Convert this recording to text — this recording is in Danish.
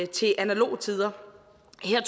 til analoge tider